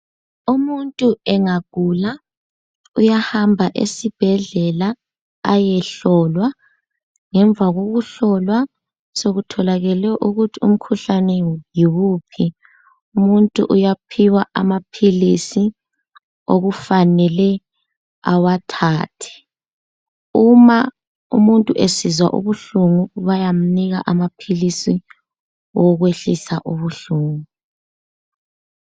Umuntu engagula, uyahamba esibhedlela ayehlolwa. Ngemva kokuhlolwa sekutholakele ukuthi umkhuhlane yiwuphi, umuntu uyaphiwa amaphilisi okufanele awathathe. Uma umuntu esizwa ubuhlungu bayamnika amaphilisi owokwehlisa ubuhlungu.